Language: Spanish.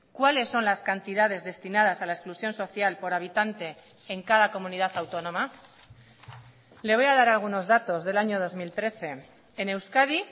cuáles son las cantidades destinadas a la exclusión social por habitante en cada comunidad autónoma le voy a dar algunos datos del año dos mil trece en euskadi